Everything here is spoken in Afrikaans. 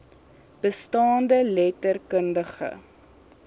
bestaande letter kundige